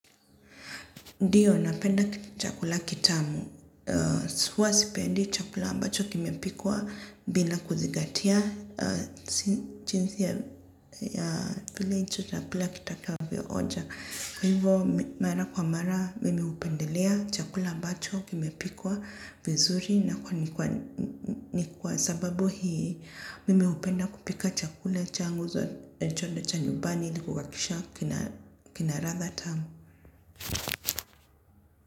Ndiyo, napenda chakula kitamu. Huwa sipendi chakula ambacho kimepikwa bila kuzingatia jinsi ya chakula kitakavyoonja. Kwa hivyo mara kwa mara mimi hupendelea chakula ambacho kimepikwa vizuri na kwani ni kwa sababu hii mimi hupenda kupika chakula changu zo chonda cha nyumbani ili kuhakikisha kina ratha tamu.